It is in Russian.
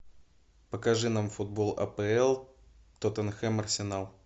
покажи нам футбол апл тоттенхэм арсенал